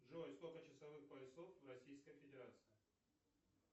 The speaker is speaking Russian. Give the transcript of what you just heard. джой сколько часовых поясов в российской федерации